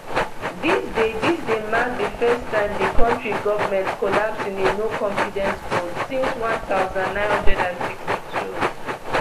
dis dey dis dey mark di first time di kontri govment collapse in a noconfidence vote since one thousand, nine hundred and sixty-two